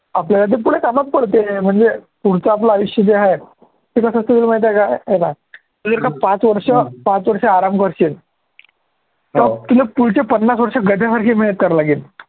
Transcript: आपल्याला पुढे ते कामात पडते म्हणजे पुढचं आपलं आयुष्य जे आहे ते कसं असेल माहिती आहे काय हे पाह्य तू जर का पाच वर्ष आराम करशील तर तुला पुढचे पन्नास वर्ष गध्यासारखी मेहनत करावी लागेल.